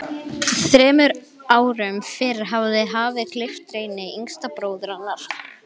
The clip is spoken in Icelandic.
Þremur árum fyrr hafði hafið gleypt Reyni, yngsta bróður hennar.